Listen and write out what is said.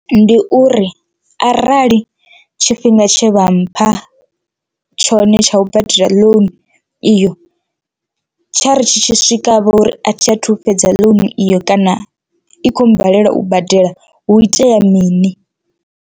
Ndi uri arali tshifhinga tshe vha mpha tshone tsha u badela loan iyo, tsha ri tshi tshi swika vhori a thi a thu fhedza loan iyo kana i khou balelwa u badela hu itea mini.